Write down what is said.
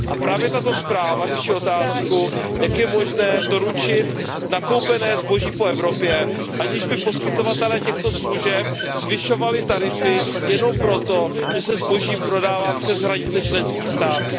A právě tato zpráva řeší otázku, jak je možné doručit nakoupené zboží po Evropě, aniž by poskytovatelé těchto služeb zvyšovali tarify jenom proto, že se zboží prodává přes hranice členských států.